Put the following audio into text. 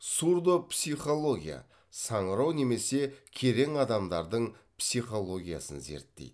сурдопсихология саңырау немесе керең адамдардың психологиясын зерттейді